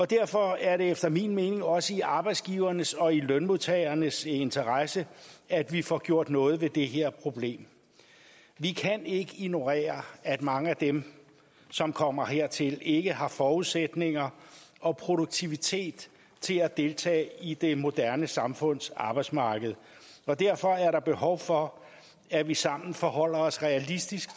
derfor er det efter min mening også i arbejdsgivernes og lønmodtagernes interesse at vi får gjort noget ved det her problem vi kan ikke ignorere at mange af dem som kommer hertil ikke har forudsætninger og produktivitet til at deltage i det moderne samfunds arbejdsmarked og derfor er der behov for at vi sammen forholder os realistisk